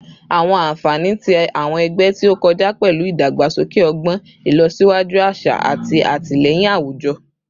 Awọn anfani ti awọn ẹgbẹ ti o kọja pẹlu idagbasoke ọgbọn, ilosiwaju aṣa, ati atilẹyin awujọ